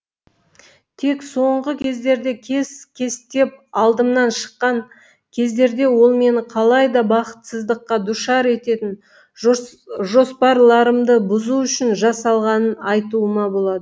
тек соңғы кездерде кес кестеп алдымнан шыққан кездерде ол мені қалай да бақытсыздыққа душар ететін жоспарларымды бұзу үшін жасалғанын айтуыма болады